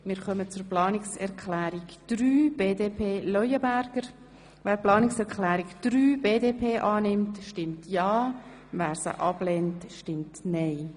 Wer Planungserklärung 4 annehmen will, stimmt ja, wer sie ablehnt, stimmt nein.